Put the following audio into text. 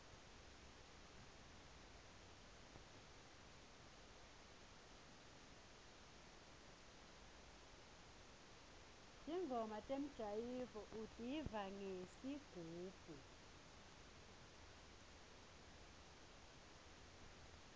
ntingoma temjayivo utiva ngesigubhu